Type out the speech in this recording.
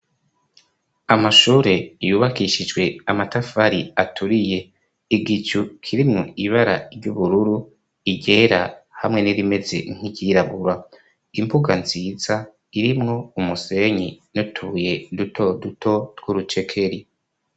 Amashure yubakishijwe amatafari aturiye igicu kirimwo ibara ry'ubururu iryera hamwe n'irimeze nkiryirabura impuga nziza irimwo umusenyi n'utubuye duto duto twurucekeri.